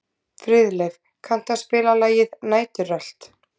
Friðleif, kanntu að spila lagið „Næturrölt“?